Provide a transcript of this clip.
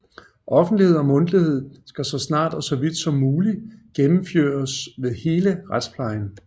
Offentlighed og Mundtlighed skal saa snart og saa vidt som muligt gjennemføres ved hele Retspleien